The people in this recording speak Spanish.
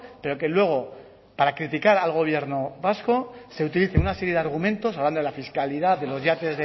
pero que luego para criticar al gobierno vasco se utilicen una serie de argumentos hablando de la fiscalidad de los yates